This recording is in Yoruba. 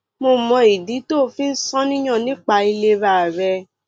mo mọ ìdí tí o fi ń ṣàníyàn nípa ìlera rẹ